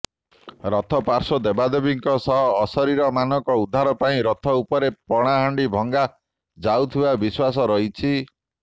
ରଥର ପାର୍ଶ୍ୱ ଦେବଦେବୀଙ୍କ ସହ ଅଶରୀରୀମାନଙ୍କ ଉଦ୍ଧାର ପାଇଁ ରଥ ଉପରେ ପଣାହାଣ୍ଡି ଭଙ୍ଗା ଯାଉଥିବା ବିଶ୍ୱାସ ରହିଛି